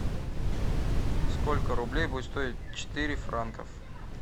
сколько рублей будет стоить четыре франков